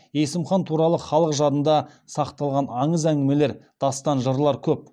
есім хан туралы халық жадында сақталған аңыз әңгімелер дастан жырлар көп